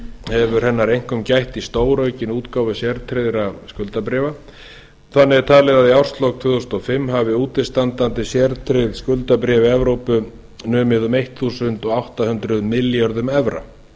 hefur hennar einkum gætt í stóraukinni útgáfu sértryggðra skuldabréfa þannig er talið að í árslok tvö þúsund og fimm hafi útistandandi sértryggð skuldabréf í evrópu numið um einn komma átta núll núll milljörðum evra